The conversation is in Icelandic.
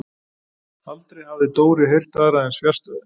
Aldrei hafði Dóri heyrt aðra eins fjarstæðu.